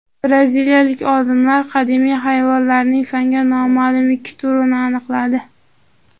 Braziliyalik olimlar qadimiy hayvonlarning fanga noma’lum ikki turini aniqladi.